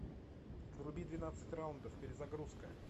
вруби двенадцать раундов перезагрузка